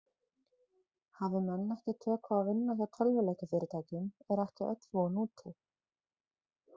Hafi menn ekki tök á að vinna hjá tölvuleikjafyrirtækjum er ekki öll von úti.